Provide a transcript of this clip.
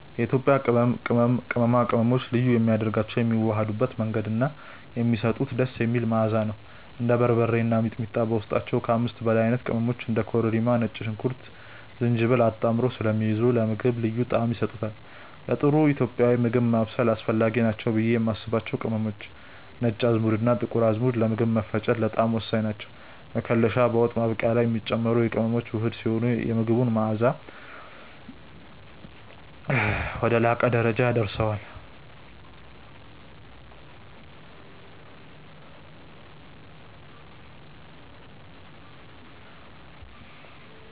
የኢትዮጵያ ቅመማ ቅመሞችን ልዩ የሚያደርጋቸው የሚዋሃዱበት መንገድ እና የሚሰጡት ደስ የሚል መዓዛ ነው። እንደ በርበሬ እና ሚጥሚጣ በውስጣቸው ከ5 በላይ አይነት ቅመሞችን (እንደ ኮረሪማ፣ ነጭ ሽንኩርትና ዝንጅብል) አጣምረው ስለሚይዙ ለምግቡ ልዩ ጣዕም ይሰጡታል። ለጥሩ ኢትዮጵያዊ ምግብ ማብሰል አስፈላጊ ናቸው ብዬ የማስባቸው ቅመሞች፦ ነጭ አዝሙድና ጥቁር አዝሙድ፦ ለምግብ መፈጨትና ለጣዕም ወሳኝ ናቸው። መከለሻ፦ በወጥ ማብቂያ ላይ የሚጨመር የቅመሞች ውህድ ሲሆን፣ የምግቡን መዓዛ ወደ ላቀ ደረጃ ያደርሰዋል።